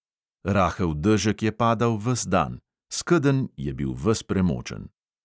Rahel dežek je padal ves dan, skedenj je bil ves premočen.